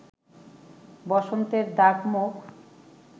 বসন্তের দাগ-মুখ